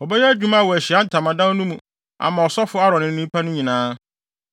Wɔbɛyɛ adwuma wɔ Ahyiae Ntamadan no mu ama ɔsɔfo Aaron ne nnipa no nyinaa.